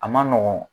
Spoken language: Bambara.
A man nɔgɔn